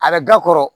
A bɛ ga kɔrɔ